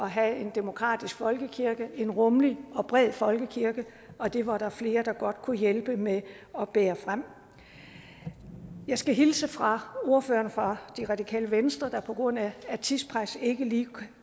have en demokratisk folkekirke en rummelig og bred folkekirke og det var der flere der godt kunne hjælpe med at bære frem jeg skal hilse fra ordføreren for det radikale venstre der på grund af tidspres ikke lige